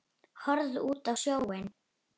Horfði út á sjóinn.